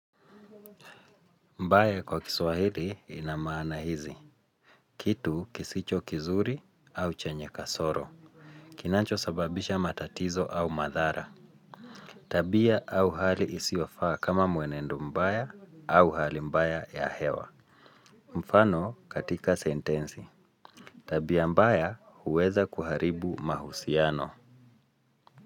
Mbaya kwa kiswahili inamaana hizi. Kitu kisicho kizuri au chenye kasoro. Kinacho sababisha matatizo au madhara. Tabia au hali isiofaa kama mwenendo mbaya au hali mbaya ya hewa. Mfano katika sentensi tabia mbaya huweza kuharibu mahusiano.